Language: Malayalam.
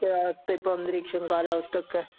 അവസ്ഥ ഇപ്പം അന്തരിഷഓ കാലാവസ്ഥ ഒക്കെ